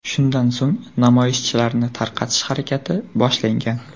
Shundan so‘ng namoyishchilarni tarqatish harakati boshlangan.